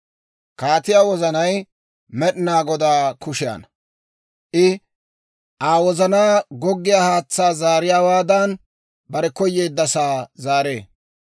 Kaatiyaa wozanay Med'inaa Godaa kushiyaanna; I Aa wozanaa goggiyaa haatsaa zaariyaawaadan, bare koyeeddasaa zaaree.